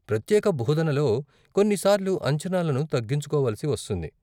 ప్రత్యేక బోధనలో కొన్ని సార్లు అంచనాలను తగ్గించుకోవలసి వస్తుంది.